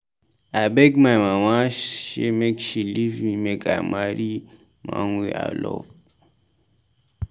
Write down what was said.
I beg my mama sey make she leave me make I marry man wey I love.